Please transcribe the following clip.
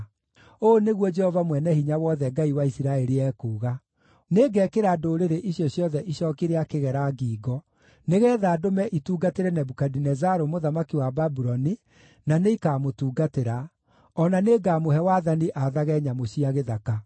Ũũ nĩguo Jehova Mwene-Hinya-Wothe, Ngai wa Isiraeli, ekuuga: Nĩngekĩra ndũrĩrĩ icio ciothe icooki rĩa kĩgera ngingo, nĩgeetha ndũme itungatĩre Nebukadinezaru mũthamaki wa Babuloni, na nĩikamũtungatĩra. O na nĩngamũhe wathani aathage nyamũ cia gĩthaka.’ ”